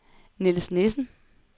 Niels Nissen